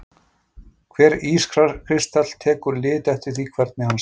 Hver ískristall tekur lit eftir því hvernig hann snýr.